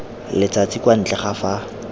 letsatsi kwa ntle ga fa